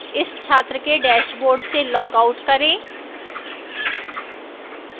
इस छात्र के dashboard से log out करें